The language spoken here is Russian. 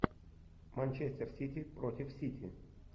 манчестер сити против сити